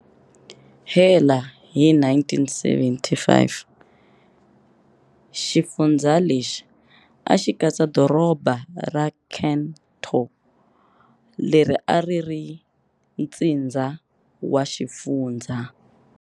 Hela hi 1975, xifundzha lexi axi katsa doroba ra Cần Thơ leri a ri ri ntsindza wa xifundzha.